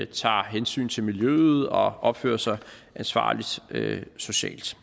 tager hensyn til miljøet og opfører sig ansvarligt socialt